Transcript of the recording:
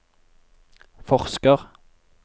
forsker